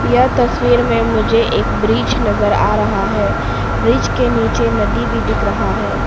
यह तस्वीर में मुझे एक ब्रिज नजर आ रहा है ब्रिज के नीचे नदी भी दिख रहा है।